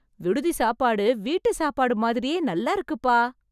விடுதி சாப்பாடு வீட்டு சாப்பாடு மாதிரியே நல்லாருக்குப்பா...